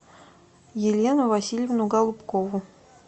елену васильевну голубкову